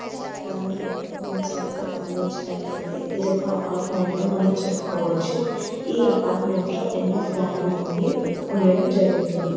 ఈ చిత్రం కనుక మనం సరిగా గమనించినట్లయితే ఇదొక అపార్ట్మెంట్ గా మనం చెప్పుకోవచ్చు. ఈ అపార్ట్మెంట్ లో ఎన్నో ఫ్లాట్ లు అనేవి ఉండడం జరుగుతుంది.